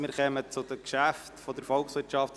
Wir kommen zu den Geschäften der VOL.